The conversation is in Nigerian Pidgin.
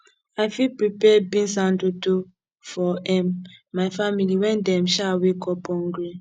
i fit prepare beans and dodo for um my family when dem um wake up hungry